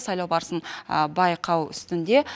сайлау барысын байқау үстінде